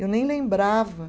Eu nem lembrava.